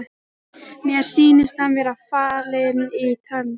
Mér sýnist hann vera fallinn í trans.